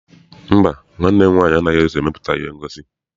Mba, nwanne m nwaanyị anaghị eso emepụta ihe ngosi.